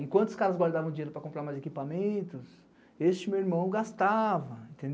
Enquanto os caras guardavam dinheiro para comprar mais equipamentos, este meu irmão gastava.